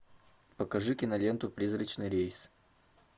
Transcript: покажи киноленту призрачный рейс